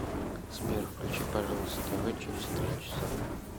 сбер включи пожалуйста тв через три часа